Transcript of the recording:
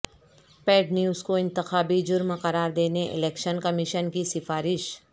paid news کو انتخابی جرم قرار دینے الیکشن کمیشن کی سفارش